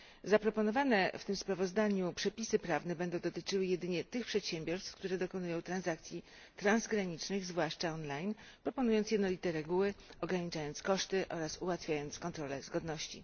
Zaproponowane w tym sprawozdaniu przepisy prawne będą dotyczyły jedynie tych przedsiębiorstw, które dokonują transakcji transgranicznych, zwłaszcza online, proponując jednolite reguły, ograniczając koszty oraz ułatwiając kontrole zgodności.